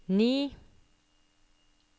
ni